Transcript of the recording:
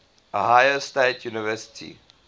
ohio state university